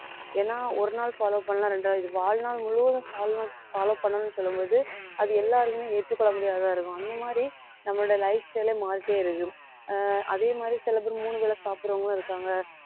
ஏன்னா ஒரு நாள் follow பண்ணலாம் இரண்டாவது இது வாழ்நாள் முழுவதும் வாழ்நாள் follow பண்ணணும்னு சொல்லும் போது அது எல்லாருக்குமே ஏற்றுக்கொள்ள முடியாததா இருக்கும் அந்த மாதிரி நம்மளோட lifestyle ஏ மாறிட்டே இருக்கும் ஆஹ் அதே மாதிரி சில பேர் மூணு வேளை சாப்பிடறவங்களும் இருக்காங்க